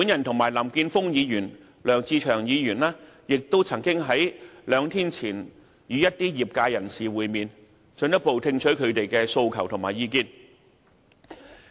我及林健鋒議員和梁志祥議員亦曾在兩天前與一些業界人士會面，進一步聽取他們的訴求和意見。